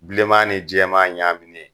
bilenman ni jɛma ɲa minɛ.